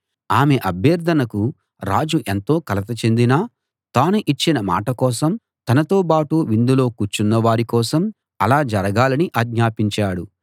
ఆమె అభ్యర్ధనకు రాజు ఎంతో కలత చెందినా తాను ఇచ్చిన మాట కోసం తనతో బాటు విందులో కూర్చున్న వారి కోసం అలా జరగాలని ఆజ్ఞాపించాడు